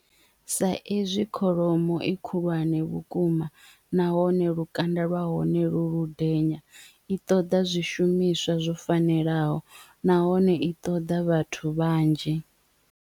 Sa ezwi kholomo i khulwane vhukuma nahone lukanda lwa hone lu lu denya i ṱoḓa zwishumiswa zwo fanelaho nahone i ṱoḓa vhathu vhanzhi.